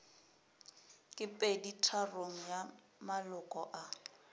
ke peditharong ya maloko a